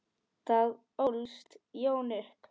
Þar ólst Jón upp.